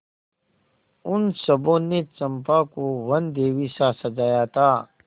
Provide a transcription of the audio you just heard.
उन सबों ने चंपा को वनदेवीसा सजाया था